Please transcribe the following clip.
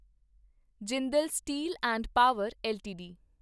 Jindal steel and power LTD